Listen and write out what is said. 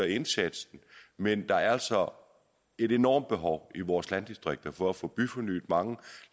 indsatsen men der er altså et enormt behov i vores landdistrikter for at få byfornyet mange